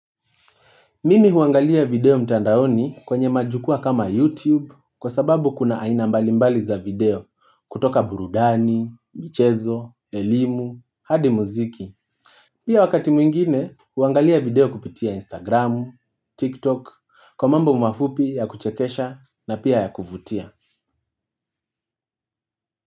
Mimi huangalia video mtandaoni kwenye majukwaa kama YouTube kwa sababu kuna aina mbalimbali za video kutoka burudani, michezo, elimu, hadi muziki. Pia wakati mwingine huangalia video kupitia Instagram, TikTok, kwa mambo mafupi ya kuchekesha na pia ya kuvutia.